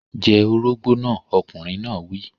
Jẹ orógbó náà! Ọkùnrin náà wí.